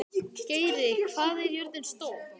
Geiri, hvað er jörðin stór?